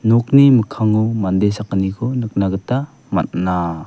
nokni mikkango mande sakgniko nikna gita man·a.